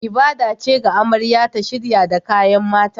Ibada ce ga amarya ta shirya da kayan mata